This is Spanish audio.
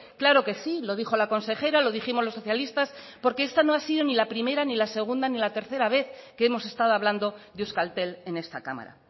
claro que sí lo dijo la consejera lo dijimos los socialistas porque esta no ha sido ni la primera ni la segunda ni la tercera vez que hemos estado hablando de euskaltel en esta cámara